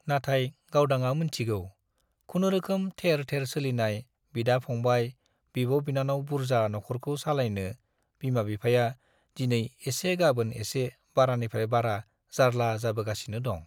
नाथाय गावदांआ मोनथिगौ खुनुरुखुम थेर थेर सोलिनाय, बिदा-फंबाय, बिब'-बिनानाव बुर्जा नख'रखौ सालायनो बिमा-बिफाया दिनै एसे गाबोन एसे बारानिफ्राइ बारा जार्ला जाबोगासिनो दं।